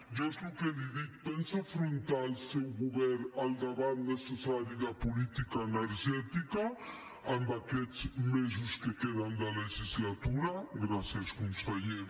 jo és el que li dic pensa afrontar el seu govern el debat necessari de política energètica en aquests mesos que queden de legislatura gràcies conseller